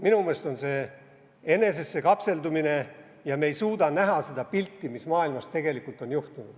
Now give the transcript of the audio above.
Minu meelest on see enesesse kapseldumine ja me ei suuda näha seda pilti, mis on maailmas tegelikult juhtunud.